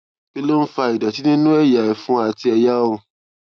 kí ló ń fa ìdòtí nínú ẹyà ẹfun àti ẹyà ọrùn